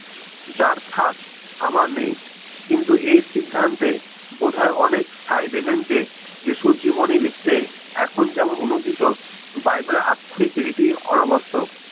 যার থাক আমার নেই কিন্তু এই সিদ্ধান্তে বোধহয় অনেক সাই দিবেন যে যীশুর জীবনী লিখতে এখন যেমন অনূদিত বাইবেলের আক্ষরিক রীতি অনাবশ্যক